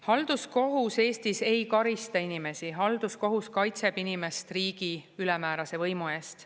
Halduskohus Eestis ei karista inimesi, halduskohus kaitseb inimest riigi ülemäärase võimu eest.